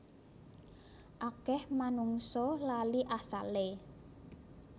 Akeh manungsa lali asale